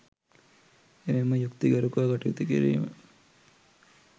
එමෙන්ම යුක්ති ගරුකව කටයුතු කිරීම